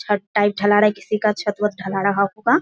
छत टाइप ढला रहा है किसी का छत वत ढला रहा होगा।